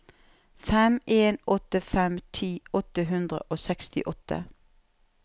fem en åtte fem ti åtte hundre og sekstiåtte